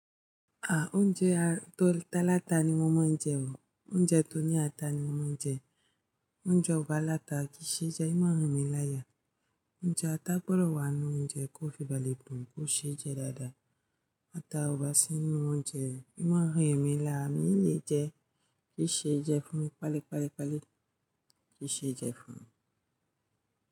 Ah! Oúnjẹ tọ́ láta ni mo mọ̀ oúnjẹ o. Oúnjẹ tọ́ ní ata ni mo mọ̀ njẹ. Oúnjẹ o bá láta kìí ṣe jẹ́ ìmaá n rìn mi láya. Oúnjẹ ata gbọ́dọ̀ wà nínú oúnjẹ kó fi balé dùn, kó ṣe jẹ́ dáadáa. Ata ọba sí inú oúnjẹ, ì ma a rí èmi lára ní, mi i leé jẹ, kì í ṣe ìjẹ́ fún mi. Pálé, pálé, pálé. Kì í ṣe jẹ́ fún mi.